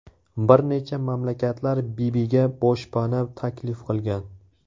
Bir necha mamlakatlar Bibiga boshpana taklif qilgan.